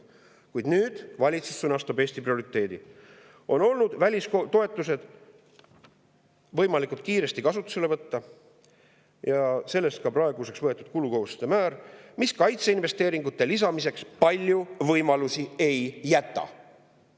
Kuid nüüd sõnastab valitsus nii, et Eesti prioriteet on välistoetused võimalikult kiiresti kasutusele võtta, ja sellest ka praeguseks võetud kulukohustuste määr, mis kaitseinvesteeringute lisamiseks palju võimalusi ei jäta.